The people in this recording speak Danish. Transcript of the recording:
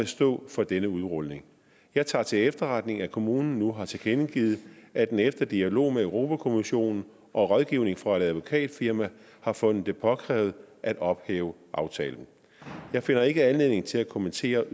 stå for denne udrulning jeg tager til efterretning at kommunen nu har tilkendegivet at den efter dialog med europa kommissionen og rådgivning fra et advokatfirma har fundet det påkrævet at ophæve aftalen jeg finder ikke anledning til at kommentere